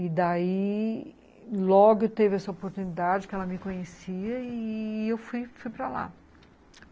E daí logo teve essa oportunidade que ela me conhecia e eu fui fui para lá.